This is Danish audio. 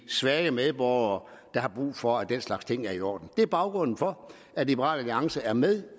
svage medborgere der har brug for at den slags ting er i orden det er baggrunden for at liberal alliance er med